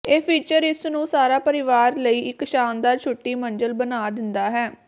ਇਹ ਫੀਚਰ ਇਸ ਨੂੰ ਸਾਰਾ ਪਰਿਵਾਰ ਲਈ ਇੱਕ ਸ਼ਾਨਦਾਰ ਛੁੱਟੀ ਮੰਜ਼ਿਲ ਬਣਾ ਦਿੰਦਾ ਹੈ